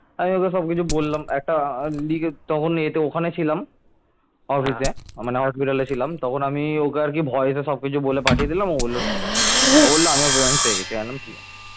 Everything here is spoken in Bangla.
তখন আমি ওকে আর কি voice সবকিছু বলে পাঠিয়ে দিলাম ও বলল ঠিক আছে ও বলল আমিও plan পেয়ে গেছি আমি বললাম ঠিক আছে